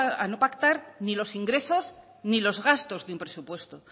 a no pactar ni los ingresos ni los gastos de un presupuesto